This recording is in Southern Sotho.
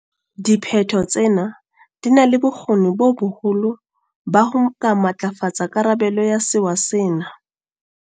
Diphetho tsena di na le bokgoni bo boholo ba ho ka matlafatsa karabelo ya sewa sena.